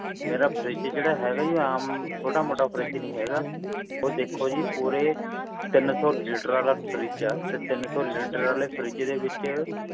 ਮੇਰਾ fridge ਜਿਹੜਾ ਹੈਗਾ ਜੀ ਉਹ ਆਮ ਛੋਟਾ ਮੋਟਾ fridge ਨਹੀਂ ਹੈਗਾ ਉਹ ਦੇਖੋ ਜੀ ਪੂਰਾ ਤਿੰਨ ਸੌ ਲੀਟਰ ਆਲਾ fridge ਆ ਤੇ ਤਿੰਨ ਸੌ ਲੀਟਰ ਆਲੇ fridge ਚ